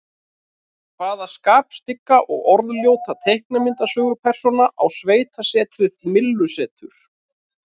Hvaða skapstygga og orðljóta teiknimyndasögupersóna á sveitasetrið Myllusetur?